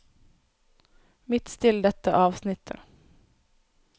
Midtstill dette avsnittet